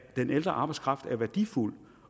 den ældre arbejdskraft er værdifuld